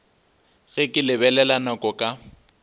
ge ke lebelela nako ka